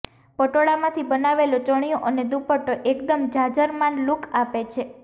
પટોળામાંથી બનાવેલો ચણીયો અને દુપટ્ટો એકદમ જાજરમાન લૂક આપે છે